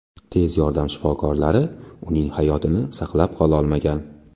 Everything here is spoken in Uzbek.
Tez yordam shifokorlari uning hayotini saqlab qololmagan.